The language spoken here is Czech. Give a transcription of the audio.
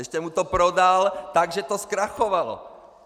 Ještě mu to prodal tak, že to zkrachovalo.